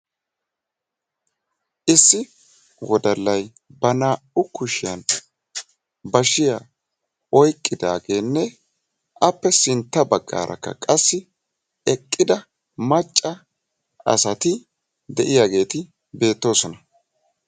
issi wodallay ba naa"u kushiyan bashiyaa oyqidaageenne appe sintta baggaarakka qasi eqida macca asati de"iyaageti beettoosona.